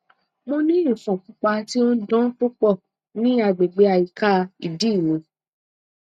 mo ni ifon pupa ti o n dan pupọ ni agbegbe ayika idi mi